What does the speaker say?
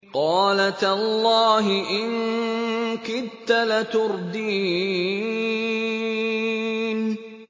قَالَ تَاللَّهِ إِن كِدتَّ لَتُرْدِينِ